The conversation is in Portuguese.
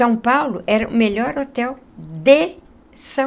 São Paulo era o melhor hotel de São